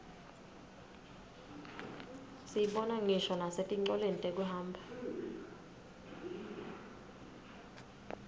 siyibona ngisho nasetincoleni tekuhamba